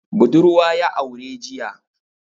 Budurwa ya aure jiya.